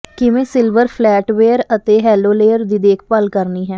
ਕਿਵੇਂ silver flatware ਅਤੇ hollowware ਦੀ ਦੇਖਭਾਲ ਕਰਨੀ ਹੈ